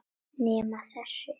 Nema þessi.